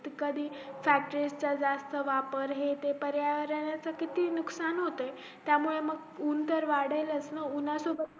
कधी factory चा जास्त वापर हे ते पर्यावरणाचा किती नुकसान होत त्या मुळे ऊन तर वाढेलचना ऊन्हा सोबत